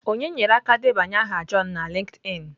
Onye nyere aka debanye aha john na LinkedIn?